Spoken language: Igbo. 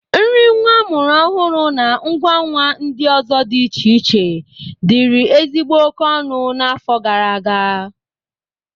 Nri nwa amụrụ ọhụrụ, na ngwa nwa ndị ọzọ dị iche iche dịrị ezigbo oke ọnụ n'afọ gara aga.